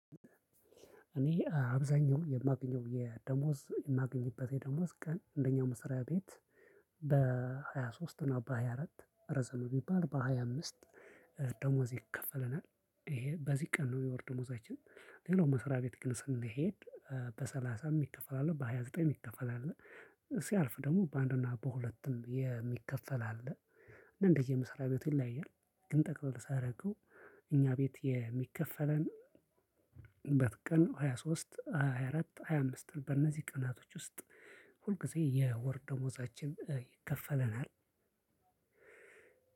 እኔ አብዛኛው የማገኘው የደሞዝ የማገኝበት የደሞዝ ቀን እንደኛ መሰሪያ ቤት በሃያ ሶስት እና በሃያ አራት ረዘመ ቢባል በሃያ አምስት ደሞዝ ይከፈለናል። ይሄ በዚህ ቀን ነው የወር ደሞዛችን። ሌላው መስሪያ ቤት ግን ስንሄድ በሰላሳም የሚከፈል አለ በሃያ ዘጠኝ የሚከፈል አለ። ሲያልፍ ደግሞ በአንድና በሁለትም የሚከፈል አለ። እንደየመስሪያ ቤቱ ይለያያል። ግን ጠቅልል ሳደርገው እኛ ቤት የሚከፈለን በት ቀን ሃያ ሶስት፣ ሃያ አራት፣ ሃያ አምስት በእነዚህ ቀናቶች ውስጥ ሁልጊዜ የወር ደሞዛችን ይከፈለናል።